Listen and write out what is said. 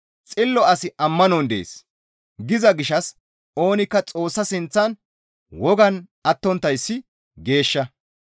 «Xillo asi ammanon de7ees» giza gishshas oonikka Xoossa sinththan wogan attonttayssi geeshsha.